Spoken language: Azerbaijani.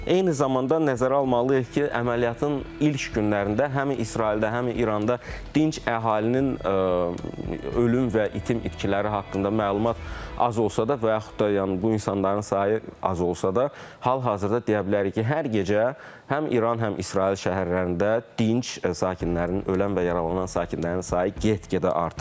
Eyni zamanda nəzərə almalıyıq ki, əməliyyatın ilk günlərində həm İsraildə, həm İranda dinc əhalinin ölüm və itim itkiləri haqqında məlumat az olsa da və yaxud da yəni bu insanların sayı az olsa da, hal-hazırda deyə bilərik ki, hər gecə həm İran, həm İsrail şəhərlərində dinc sakinlərinin ölən və yaralanan sakinlərinin sayı get-gedə artır.